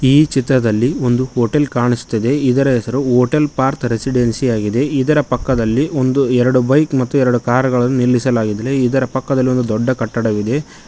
ಈ ಚಿತ್ರದಲ್ಲಿ ಒಂದು ಹೋಟೆಲ್ ಕಾಣಿಸ್ತಾ ಇದೆ ಇದರ ಹೆಸರು ಹೋಟೆಲ್ ಪಾರ್ಥ್ ರೆಸಿಡೆನ್ಸಿ ಆಗಿದೆ ಇದರ ಪಕ್ಕದಲ್ಲಿ ಒಂದು ಎರಡು ಬೈಕ್ ಮತ್ತು ಎರಡು ಕಾರುಗಳನ್ನು ನಿಲ್ಲಿಸಲಾಗಿದೆ ಇದರ ಪಕ್ಕದಲ್ಲಿ ಒಂದು ದೊಡ್ಡ ಕಟ್ಟಡವಿದೆ.